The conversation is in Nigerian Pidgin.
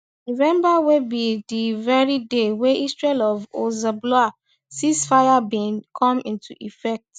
november wey be di very day wey israel and hezbollah ceasefire bin come into effect